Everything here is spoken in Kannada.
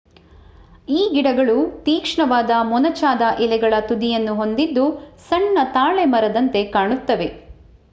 ಈ ಗಿಡಗಳು ತೀಕ್ಷ್ಣವಾದ ಮೊನಚಾದ ಎಲೆಗಳ ತುದಿಯನ್ನು ಹೊಂದಿದ್ದು ಸಣ್ಣ ತಾಳೆ ಮರದಂತೆ ಕಾಣುತ್ತವೆ